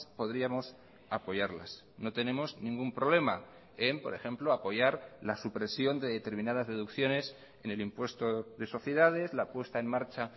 podríamos apoyarlas no tenemos ningún problema en por ejemplo apoyar la supresión de determinadas deducciones en el impuesto de sociedades la puesta en marcha